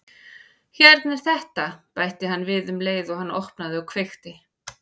Hérna er þetta- bætti hann við um leið og hann opnaði og kveikti.